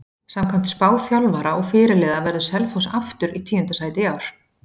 Samkvæmt spá þjálfara og fyrirliða verður Selfoss aftur í tíunda sæti í ár.